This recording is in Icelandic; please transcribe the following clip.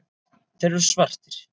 Þeir eru svartir.